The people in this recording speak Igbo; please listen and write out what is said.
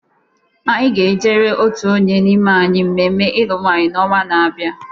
Anyị ga-ejere otu onye n'ime anyị mmemme ilu nwanyi n'ọnwa na-abịa.